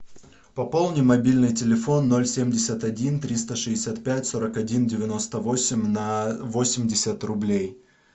пополни мобильный телефон ноль семьдесят один триста шестьдесят пять сорок один девяносто восемь на восемьдесят рублей